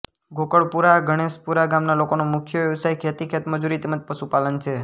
ગોકળપુરા ગણેશપુરા ગામના લોકોનો મુખ્ય વ્યવસાય ખેતી ખેતમજૂરી તેમ જ પશુપાલન છે